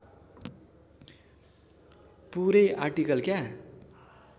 पुरै आरटिकल क्या